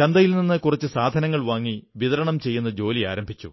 ചന്തയിൽ നിന്ന് കുറച്ച് സാധനങ്ങൾ വാങ്ങി വിതരണം ചെയ്യുന്ന ജോലി ആരംഭിച്ചു